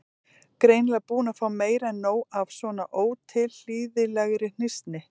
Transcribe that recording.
Greinilega búin að fá meira en nóg af svona ótilhlýðilegri hnýsni.